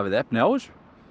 efni á þessu